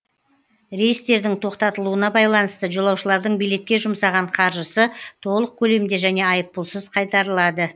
рейстердің тоқтатылуына байланысты жолаушылардың билетке жұмсаған қаржысы толық көлемде және айыппұлсыз қайтарылады